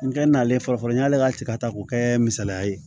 N kɛ n'ale fɔlɔfɔlɔ n y'ale ka ci ka ta k'o kɛ misaliya ye